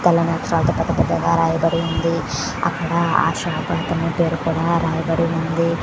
అక్కడ పెద్ద పెద్ద అక్షరాళ్ళు రాయబడి వున్నాయ్ అక్కడ అ షాప్ అతని పేరు కూడా రాయ బడి వుంది.